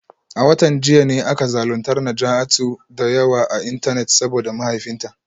A watan jiya ne aka zaluntar Najatu da yawa a Intanet saboda mahaifinta